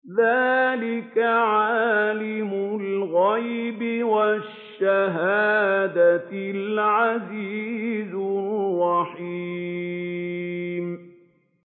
ذَٰلِكَ عَالِمُ الْغَيْبِ وَالشَّهَادَةِ الْعَزِيزُ الرَّحِيمُ